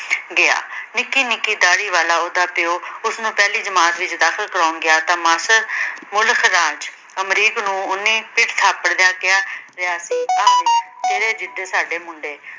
ਗਿਆ। ਨਿੱਕੀ-ਨਿੱਕੀ ਦਾਰੀ ਵਾਲਾ ਉਹਦਾ ਪਿਉ, ਉਸਨੂੰ ਪਹਿਲਾ ਜਮਾਤ ਵਿੱਚ ਦਾਖ਼ਲ ਕਰਾਉਣ ਗਿਆ ਤਾਂ ਮਾਸਰ ਮੁਲਖ ਰਾਜ ਅਮਰੀਕ ਨੂੰ ਉਨੀ ਸਰ ਥਾਪੜ ਦਿਆਂ ਕਿਹਾ ਆਹ ਵੇਖ ਤੇਰੇ ਜਿਡੇ ਸਾਡੇ ਮੁੰਡੇ।